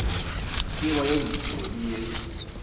tseba ye ntsho le ye